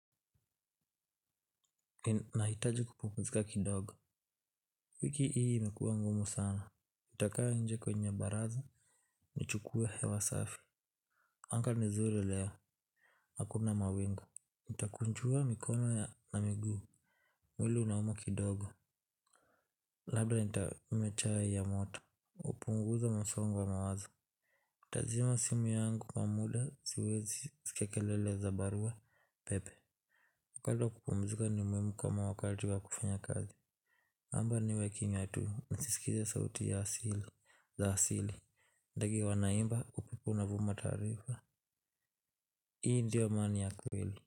Nahitaji kupumzika kidogo wiki hii imekuwa ngumu sana utakaa nje kwenye baraza. Nichukue hewa safi. Anga ni zuri leo. Hakuna mawingu nitakunjua mikono na miguu mwili unauma kidogo. Labda ntakunywa chai ya moto hupunguza msongo wa mawazo nitazima simu yangu kwa muda siwezi sikia kelele za barua pepe kando ya kupumzika ni muhimu kama wakati wa kufanya kazi naomba niwe kimya tu nizisikize sauti ya asili, za asili, ndege wanaimba upepo unavuma taarifa. Hii ndio amani ya kweli.